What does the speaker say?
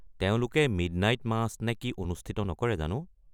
তেওঁলোকে midnight match নে কি অনুষ্ঠিত নকৰে জানো?